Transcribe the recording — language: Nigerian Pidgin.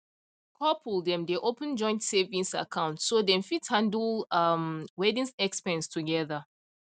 couple dem dey open joint savings account so dem fit handle um wedding expense together